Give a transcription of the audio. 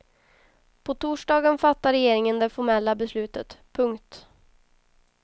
På torsdagen fattar regeringen det formella beslutet. punkt